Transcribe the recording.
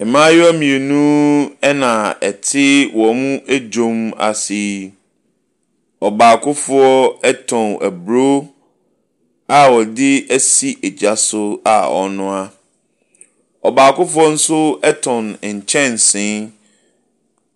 Mmaayewa mmienu na ɛte wɔn dwa ase. Ɔbaakofo tɔn aburo a ɔde asi gya so a ɔrenoa. Ɔbaakofo nso tɔn nkyɛnse